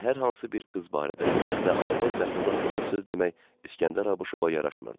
Və hər hansı bir qız barədə ümumiyyətlə arvad məxluq haqqında söz demək İsgəndər Abuşova yaraşmırdı.